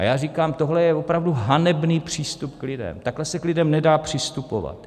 A já říkám, tohle je opravdu hanebný přístup k lidem, takhle se k lidem nedá přistupovat.